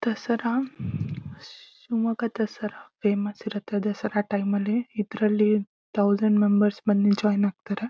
Dasara Shivamogga Dasara famous ಇರುತ್ತೆ Dasara time ನಲ್ಲಿ ಇದ್ದರಲ್ಲಿ ಥೌಸಂಡ್ ಮೆಂಬರ್ಸ್ ಬಂದು ಜಾಯಿನ್ ಆಗ್ತಾರೆ.